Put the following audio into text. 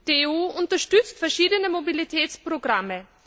Die EU unterstützt verschiedene Mobilitätsprogramme.